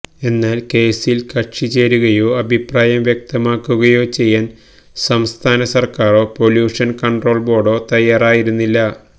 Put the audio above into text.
എന്നാൽ കേസിൽ കക്ഷിചേരുകയോ അഭിപ്രായം വ്യക്തമാക്കുകയോ ചെയ്യാൻ സംസ്ഥാന സർക്കാരോ പൊല്യൂഷൻ കൺട്രോൾ ബോർഡോ തയ്യാറായിരുന്നില്ല